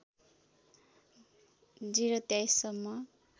०२३ सम्म